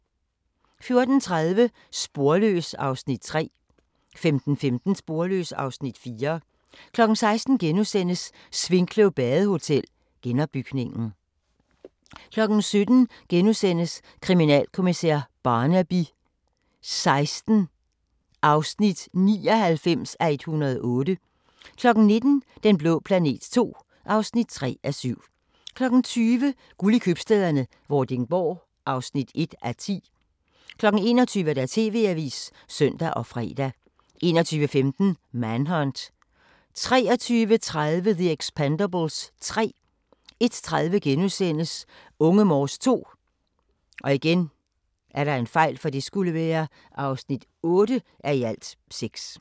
14:30: Sporløs (Afs. 3) 15:15: Sporløs (Afs. 4) 16:00: Svinkløv Badehotel – genopbygningen * 17:00: Kriminalkommissær Barnaby XVI (99:108)* 19:00: Den blå planet II (3:7) 20:00: Guld i Købstæderne - Vordingborg (1:10) 21:00: TV-avisen (søn og fre) 21:15: Manhunt 23:30: The Expendables 3 01:30: Unge Morse II (8:6)*